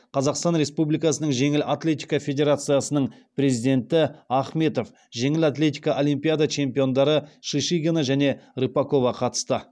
қазақстан республикасының жеңіл атлетика федерациясының президенті ахметов жеңіл атлетикадан олимпиада чемпиондары шишигина және рыпакова қатысты